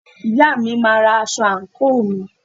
Ìyá mi máa ra aṣọ àǹkóò mi.